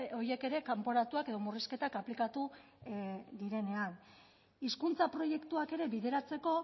horiek ere kanporatuak edo murrizketak aplikatu direnean hizkuntza proiektuak ere bideratzeko